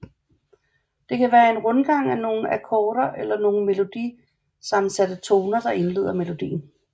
Det kan være en rundgang af nogle akkorder eller nogle melodi sammensatte toner der indleder melodien